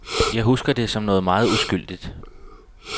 Jeg husker det som noget meget uskyldigt.